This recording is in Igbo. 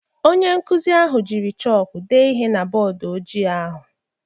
Onye nkuzi ahụ jiri chọkụ dee ihe na bọọdụ ojii ahụ